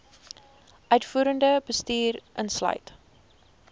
uitvoerende bestuur insluit